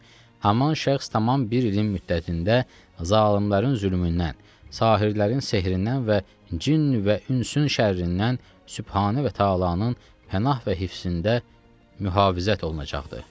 Haman şəxs tamam bir ilin müddətində zalımların zülmündən, sahirdərin sehrindən və cin və ünsün şərindən Sübhane və Təalanın pənah və hifzində mühafizət olunacaqdır.